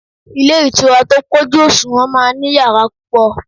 Ilé ìtura tó pọ̀jù òṣùwọ̀n máa ń ní yàrá púpọ̀